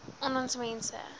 aan ons mense